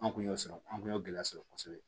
An kun y'o sɔrɔ an kun y'o gɛlɛya sɔrɔ kosɛbɛ